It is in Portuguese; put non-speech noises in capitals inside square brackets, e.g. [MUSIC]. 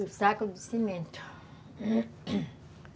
Do saco de cimento [COUGHS]